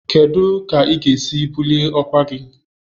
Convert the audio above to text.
Kedu ka ị ga-esi bulie ọkwa gị?